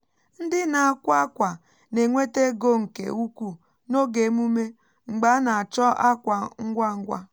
ndị na-akwa akwa na-enweta ego nke ukwuu n’oge emume mgbe a na-achọ akwa ngwa ngwa